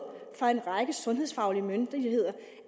fra en række sundhedsfaglige myndigheder